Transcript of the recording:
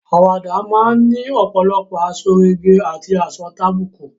Àwàdà máa ni ọ̀pòlọpọ̀ àsọrégèé àti àsọtàbùkù.